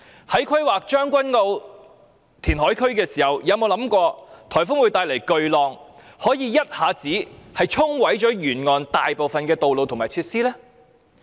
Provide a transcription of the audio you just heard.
在規劃將軍澳填海區時，有否想到颱風會帶來巨浪，可以一下子沖毀沿岸大部分道路及設施？